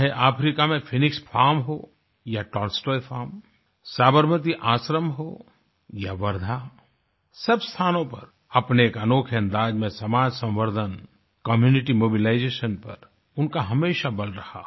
चाहे अफ्रीका में Phoenix farm हो या टॉलस्टॉय फार्म साबरमती आश्रम हो या वर्धा सब स्थानों पर अपने एक अनोखे अंदाज में समाज संवर्धन कम्यूनिटी मोबिलाइजेशन पर उनका हमेशा बल रहा